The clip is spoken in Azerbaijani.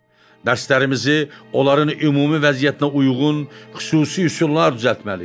Dərslərimizi onların ümumi vəziyyətinə uyğun xüsusi üsullar düzəltməliyik.